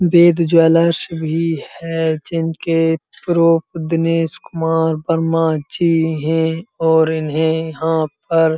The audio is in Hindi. वेद ज्वेलर्स भी है जिनके प्रो दिनेश कुमार वर्मा जी हैं और इन्हे यहाँ पर --